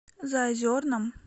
заозерном